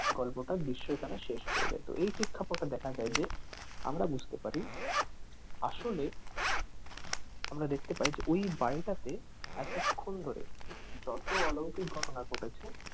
গল্পটার দৃশ্য এখানে শেষ হয়ে যেত এই প্রেক্ষাপটে দেখা যায় যে আমরা বুঝতে পারি আসলে আমরা দেখতে পাই যে ওই বাড়িটাতে এতক্ষন ধরে যত অলৌকিক ঘটনা ঘটেছে,